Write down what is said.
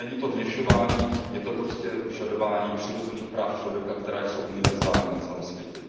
Není to vměšování, je to prostě vyžadování přirozených práv člověka, která jsou univerzální na celém světě.